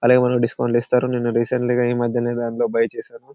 అది ఏమన్నా డిస్కౌంట్ లో ఇస్తారు నేను రీసెంట్ గ ఈమధ్యనే దాంట్లో బయ్ చేశాను.